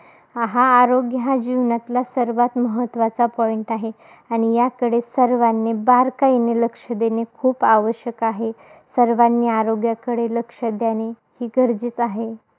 आहा आरोग्यातला सर्वात महत्वाचा point आहे. आणि याकडे सर्वांनी, बारकाईने लक्ष देणे खूप आवश्यक आहे. सर्वांनी आरोग्याकडे लक्ष देणे ही गरजच आहे.